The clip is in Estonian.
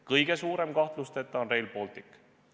Kõige suurem on kahtlusteta Rail Baltic.